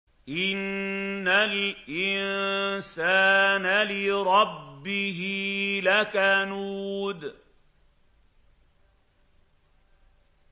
إِنَّ الْإِنسَانَ لِرَبِّهِ لَكَنُودٌ